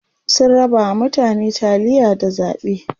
sun rabawa mutane taliya da zaɓe